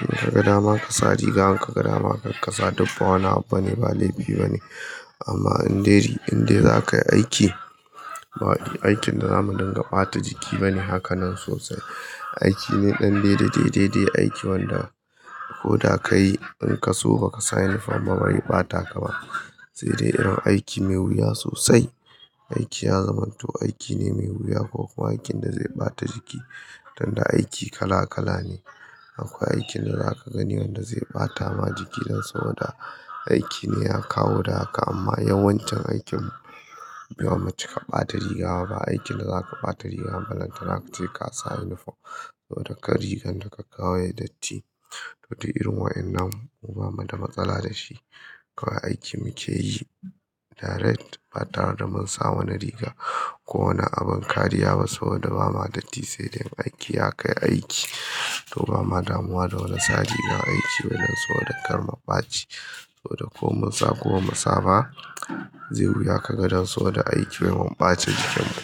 In ka ga dama ka sa riga, in ka ga dama karka sa, duk ba wani abu bane, ba laifi bane. Amma in dai, in dai zaka yi aiki, aikin da zamu dinga ɓata jiki bane hakanan sosai. Aiki ne ɗan dai dai dai dai dai, aiki wanda koda ka yi in ka so ba ka sa uniform ba ba zai ɓata ka ba. Sai dai irin aiki mai wuya sosai. Aiki ya zamanto aiki ne mai wuya ko kuwa aikin da zai ɓata jiki. Tunda aiki kala kala ne. Akwai aikin da zaka gani wanda zai ɓata ma jiki dan saboda aiki ne ya kawo da haka. Amma yawan aikin mu ba mu cika ɓata riga ba. Ba aikin da zaka ɓata riga balantana kace ka sa uniform. Saboda kar rigan da ka kawo yayi datti. To duk irin waƴannan mu ba mu da matsala da shi. Kawai aikin muke yi direct ba tare da mun sa wani riga ko wani abin kariya ba saboda ba ma datti. Sai dai aiki ya kai aiki. To ba ma damuwa da wani sa rigar aiki bane saboda kar mu ɓaci ko da ko mun sa ko mu sa ba zai wuya ka ga dan saboda aikin wai mun ɓace jikin mu.